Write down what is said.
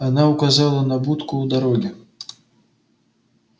она указала на будку у дороги